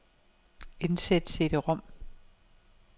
Indsæt cd-rom.